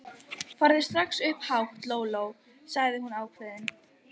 Farðu strax upp að hátta, Lóa-Lóa, sagði hún ákveðin.